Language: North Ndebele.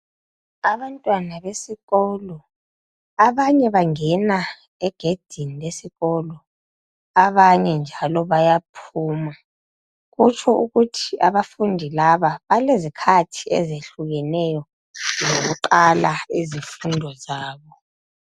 Abantwana besikolo ,abanye bangena egedini lesikolo abanye njalo bayaphuma kutsho ukuthi abafundi laba balezikhathi ezehlukeneyo zokuqala izifundo zabo.